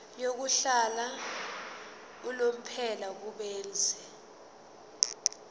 yokuhlala unomphela kubenzi